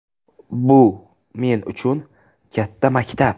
Bu men uchun katta maktab.